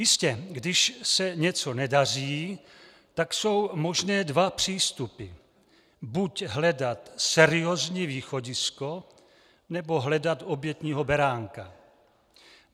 Jistě, když se něco nedaří, tak jsou možné dva přístupy - buď hledat seriózní východisko, nebo hledat obětního beránka.